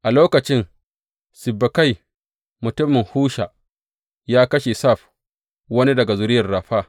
A lokacin Sibbekai mutumin Husha ya kashe Saf, wani daga zuriyar Rafa.